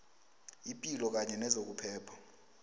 ipilo kanye nezokuphepha